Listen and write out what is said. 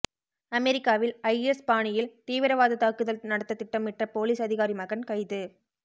அமெரிக்காவில் ஐஎஸ் பாணியில் தீவிரவாத தாக்குதல் நடத்த திட்டமிட்ட போலீஸ் அதிகாரி மகன் கைது